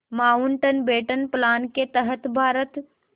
Mountbatten plan के तहत भारत